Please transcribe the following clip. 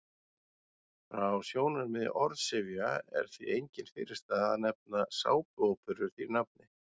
Frá sjónarmiði orðsifja er því engin fyrirstaða að nefna sápuóperur því nafni.